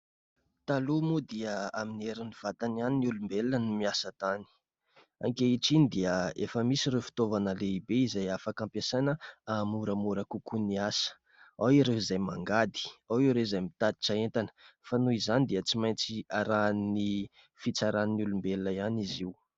Taloha moa dia amin'ny heriny vatany ihany ny olombelona no miasa tany. Ankehitriny dia efa misy ireo fitaovana lehibe izay afaka ampiasaina mba hampamoramora kokoa ny asa. Ao ireo izay mangady, ao ireo izay mitatitra entana. Fa noho izany dia tsy maintsy arahin'ny fitsaran'ny olombelona ihany izy io.